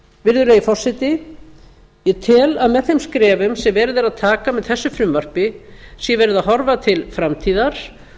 virðulegi forseti ég tel að með þeim skrefum sem verið er að taka með þessu frumvarpi sé verið að horfa til framtíðar